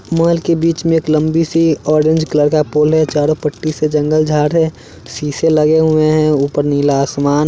Mall के बीच में एक लंबी सी ऑरेंज कलर का पोल है। चारों पट्टी से जंगल झाड़ रहे हैं। शीशे लगे हुए हैं ऊपर नीला आसमान--